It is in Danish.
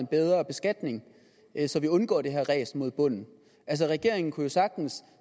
en bedre beskatning så de undgår det her ræs mod bunden regeringen kunne jo sagtens